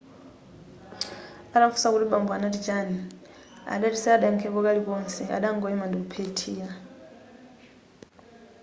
atamufunsa kuti bambo anati chani adati sadayakhepo kalikonse adangoima ndikuphethira